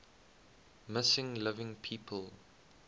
missing living people